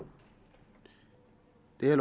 det er jo